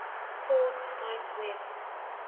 called cite web